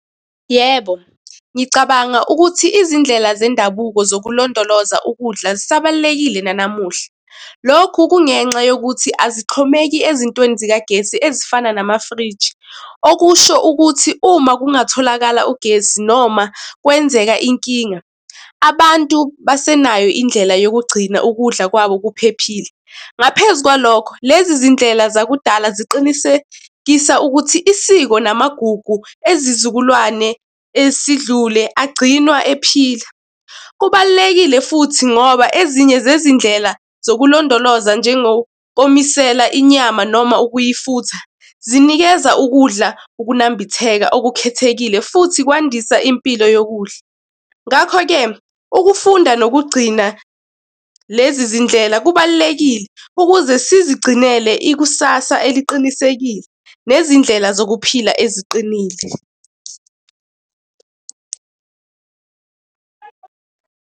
Yebo, ngicabanga ukuthi izindlela zendabuko zokulondoloza ukudla zisabalulekile nanamuhla. Lokhu kungenxa yokuthi azihxomeki ezintweni zikagesi ezifana namafriji. Okusho ukuthi uma kungatholakala ugesi noma kwenzeka inkinga, abantu base nayo indlela yokugcina ukudla kwabo kuphephile. Ngaphezu kwalokho, lezi zindlela zakudala ziqinisekisa ukuthi isiko namagugu ezizukulwane esidlule agcinwa ephila. Kubalulekile futhi ngoba ezinye zezindlela zokulondoloza njengokomisela inyama noma ukuyifutha, zinikeza ukudla ukunambitheka okukhethekile futhi kwandisa impilo yokudla. Ngakho-ke ukufunda nokugcina lezi zindlela kubalulekile ukuze sizigcinele ikusasa eliqinisekile nezindlela zokuphila eziqinile.